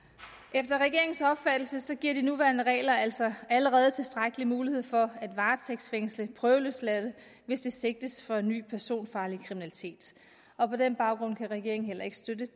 efter regeringens opfattelse giver de nuværende regler altså allerede tilstrækkelig mulighed for at varetægtsfængsle prøveløsladte hvis de sigtes for ny personfarlig kriminalitet og på den baggrund kan regeringen heller ikke støtte